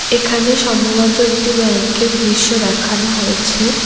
এখানে সম্ভবত একটি ব্যাংকের দৃশ্য দেখানো হয়েছে।